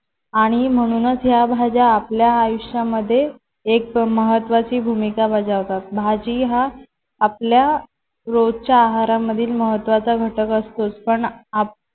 आणि म्हणूनच या भाज्या आपल्या आयुष्यामध्ये एक महत्त्वाची भूमिका बजावतात. भाजी हा आपल्या रोजच्या आहारामधील महत्त्वाचा घटक असतो. पण आप